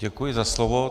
Děkuji za slovo.